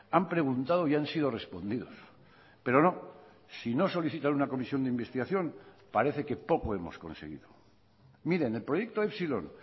han preguntado y han sido respondidos pero no si no solicitan una comisión de investigación parece que poco hemos conseguido miren el proyecto epsilon